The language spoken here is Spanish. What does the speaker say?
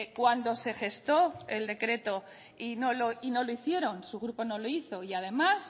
cuando se gestó el decreto y no lo hicieron su grupo no lo hizo y además